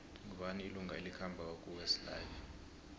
ngubani ilunga elikhambako kuwest life